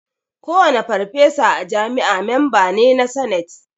Kowane farfesa a jami'a memba ne na sanate